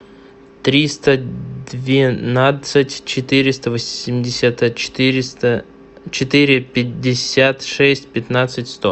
триста двенадцать четыреста восемьдесят четыреста четыре пятьдесят шесть пятнадцать сто